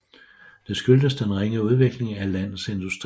Det skyldes den ringe udvikling af landets industri